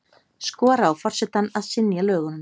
Skora á forsetann að synja lögunum